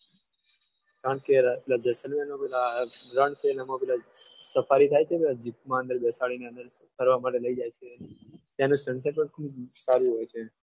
કારણ કે જેસલમેરમાં રણમાં પેલી સફારી થાય છે ને જીપમાં અંદર બેસાડીને ફરવા માટે લઈ જાય છે તેનું સંસદ પણ ખૂબ સારું હોય છે.